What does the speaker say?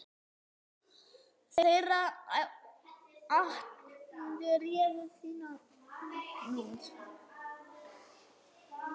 Þeirra atkvæði réðu þínum frama.